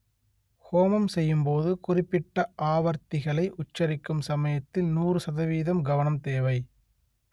ஹோமம் செய்யும் போது குறிப்பிட்ட ஆவர்த்திகளை உச்சரிக்கும் சமயத்தில் நூறு சதவீதம் கவனம் தேவை